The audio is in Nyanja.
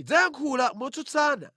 Idzayankhula motsutsana